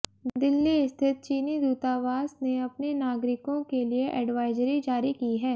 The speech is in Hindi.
दिल्ली स्थित चीनी दूतावास ने अपने नागरिकों के लिए एडवाइजरी जारी की है